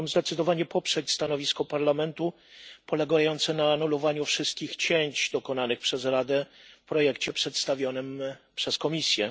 chciałbym zdecydowanie poprzeć stanowisko Parlamentu, polegające na anulowaniu wszystkich cięć dokonanych przez Radę w projekcie przedstawionym przez Komisję.